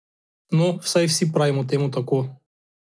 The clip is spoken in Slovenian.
No, vsaj vsi pravimo temu tako.